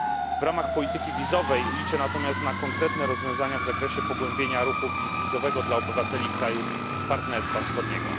W ramach polityki wizowej liczę natomiast na konkretne rozwiązania w zakresie pogłębienia ruchu bezwizowego dla obywateli krajów partnerstwa wschodniego.